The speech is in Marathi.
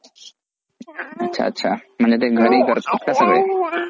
अच्छा अच्छा म्हणजे ते घरी करतात का सगळे.